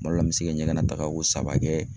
Kuma dɔ la ,n bɛ se ɲɛgɛn dagako saba kɛ.